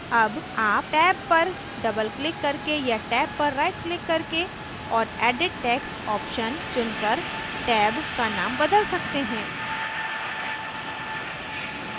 tab आप text पर double click करके या text पर rightक्लिक करके और edit text option चुनकर text का now बदल सकते हैं